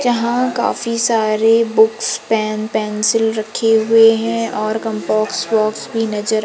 जहां काफी सारे बुक्स पेन पेंसिल रखे हुएं हैं और कम्पास बॉक्स भी नजर--